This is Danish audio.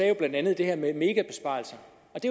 jo blandt andet det her med megabesparelser